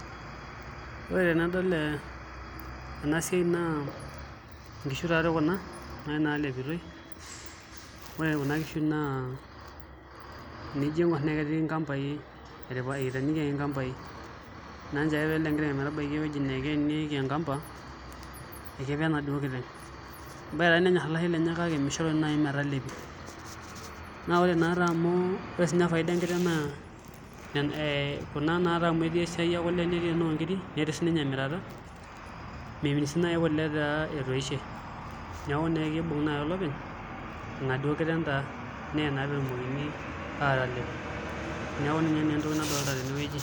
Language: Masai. Ore tenadol ena siai naa nkishu taatoi kuna naalepitoi ore kuna kishu naa enijo aing'orr naa ketii nkambaai eteenikiaki nkambaai naa nchoo ake pee elo enkiteng' ometabaiki ewueji naa keenieki enkamba ekepe e aduoo kiteng' ebaiki naa nenyorr olashe lenye kake mishoru naa metalepi naa ore naatoi amu ore siinye faida enkiteng' naa kuna naatoi amu etii esiai ekule netii enoonkiri netii sininye emirata memit sii naai kule etaa etoishe neeku naa kibung'a naai olopeny enaduo kiteng' taa netumoki aatalep neeku ninye naa entoki nadolta tenewueji.